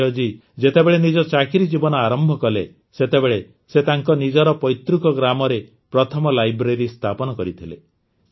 ସଂଜୟ ଜୀ ଯେତେବେଳେ ନିଜ ଚାକିରି ଜୀବନ ଆରମ୍ଭ କଲେ ସେତେବେଳେ ସେ ତାଙ୍କ ନିଜର ପୈତୃକ ଗ୍ରାମରେ ପ୍ରଥମ ଲାଇବ୍ରେରୀ ସ୍ଥାପିତ କରିଥିଲେ